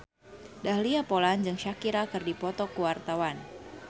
Dahlia Poland jeung Shakira keur dipoto ku wartawan